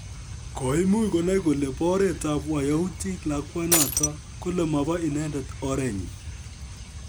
koimuch konae kole be oret ab wayaudik lakwanoto kole mobo inendet oree nyiny